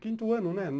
Quinto ano, né?